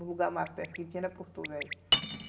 O lugar mais perto que tinha era Porto Velho.